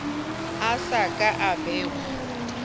a so ka a bewa